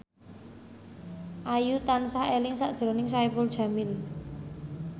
Ayu tansah eling sakjroning Saipul Jamil